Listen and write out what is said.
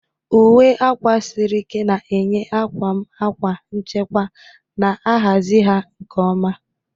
Uwe akwa siri ike na-enye akwa m akwa nchekwa, na-ahazi ha nke ọma.